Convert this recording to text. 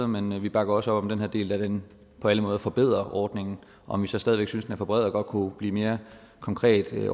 men vi bakker også op om den her del da den på alle måder forbedrer ordningen om vi så stadig væk synes er for bred og godt kunne blive mere konkret i